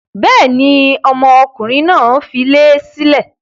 Bẹ́ẹ̀ni, ọmọkùnrin náà dilé sílẹ̀.